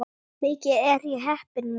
Mikið er ég heppin mús!